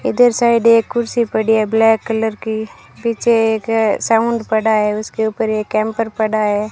इधर साइड एक कुर्सी पड़ी है ब्लैक कलर की पीछे एक साउंड पड़ा है उसके ऊपर एक हैंपर पड़ा है।